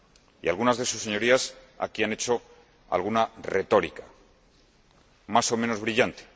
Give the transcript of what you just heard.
Y algunas de sus Señorías aquí han hecho alguna retórica, más o menos brillante.